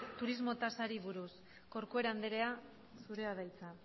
turismo tasari buruz corcuera andrea zurea da hitza